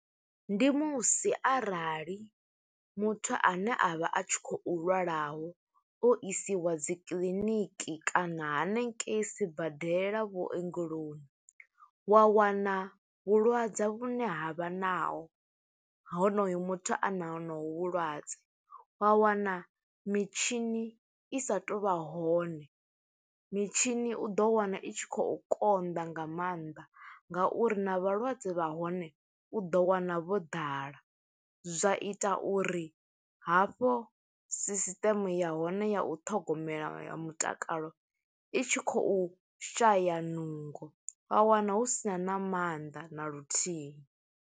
Ndi musi arali muthu ane a vha a tshi khou lwalaho, o isiwa dzi kiḽiniki kana hanengei sibadela vhuongeloni, wa wana vhulwadze vhune ha vha naho, ha honoyo muthu a na honovhu vhulwadze. Wa wana mitshini i sa tou vha hone, mitshini u ḓo wana i tshi khou konḓa nga maanḓa, nga uri na vhalwadze vha hone, u ḓo wana vho ḓala. Zwa ita uri hafho sisiteme ya hone ya u ṱhogomela mutakalo, i tshi khou shaya nungo, wa wana hu sina na maanḓa na luthihi.